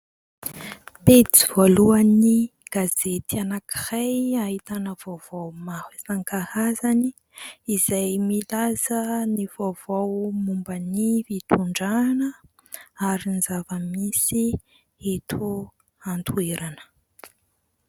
Pejy voalohan'ny gazety anankiray ahitana vaovao maro isan-karazany izay milaza ny vaovao momba ny fitondrana ary ny zavamisy eto an-toerana.